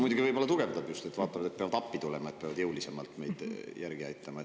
Muidugi võib-olla tugevdab just – nad vaatavad, et peavad appi tulema ja jõulisemalt meid järele aitama.